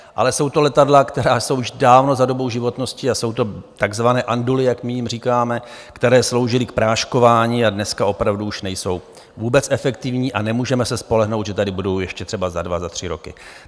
Ale jsou to letadla, která jsou už dávno za dobou životnosti, a jsou to takzvané anduly, jak my jim říkáme, které sloužily k práškování a dneska opravdu už nejsou vůbec efektivní, a nemůžeme se spolehnout, že tady budou ještě třeba za dva, za tři roky.